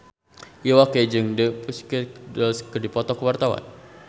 Iwa K jeung The Pussycat Dolls keur dipoto ku wartawan